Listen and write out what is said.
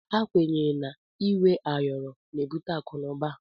Ekwenye na inwe ayọrọ na ebute akụ na uba.